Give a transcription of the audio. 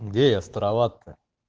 где я справат то